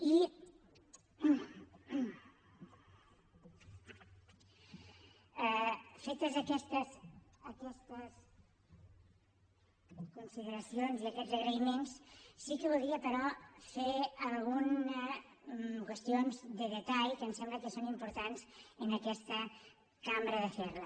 i fetes aquestes aquestes consideracions i aquests agraïments sí que volia però fer algunes qüestions de detall que em sembla que són importants en aquesta cambra de fer les